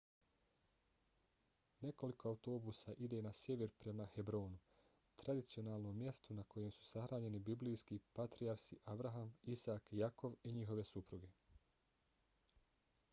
nekoliko autobusa ide na sjever prema hebronu tradicionalnom mjestu na kojem su sahranjeni biblijski patrijarsi abraham isak jakov i njihove supruge